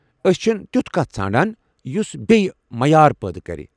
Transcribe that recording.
أسۍ چھِن تیوٚتھ کانٛہہ ژھانٛڈان یُس بییہ معیار پٲدٕ كرِ ۔